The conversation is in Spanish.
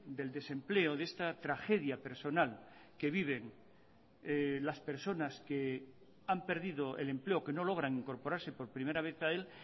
del desempleo de esta tragedia personal que viven las personas que han perdido el empleo o que no logran incorporarse por primera vez a él